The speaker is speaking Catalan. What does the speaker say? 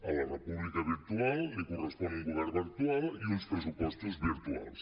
a la república virtual li correspon un govern virtual i uns pressupostos virtuals